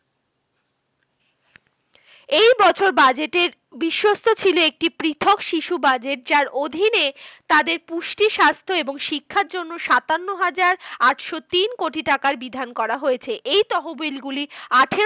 এই বছর budget এর বিশস্থ ছিল একটি পৃথক শিশু budget, যার অধীনে তাদের পুষ্টি, স্বাস্থ্য এবং শিক্ষার জন্য সাতান্ন হাজার আটশো তিন কোটি টাকার বিধান করা হয়েছে। এই তহবিলগুলি আঠেরো